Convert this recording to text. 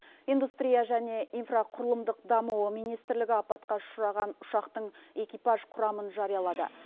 индустрия және инфрақұрылымдық даму министрлігі апатқа ұшыраған ұшақтың экипаж құрамын жариялады